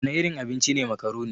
Wana irin abinci ne makaroni?